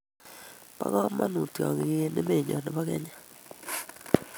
Bo kamanuut tyongik eng emenyo nebo kenya